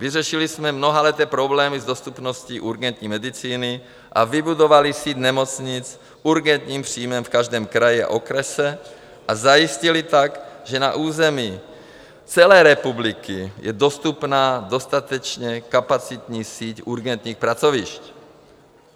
Vyřešili jsme mnohaleté problémy s dostupností urgentní medicíny a vybudovali síť nemocnic s urgentním příjmem v každém kraji a okrese, a zajistili tak, že na území celé republiky je dostupná dostatečně kapacitní síť urgentních pracovišť.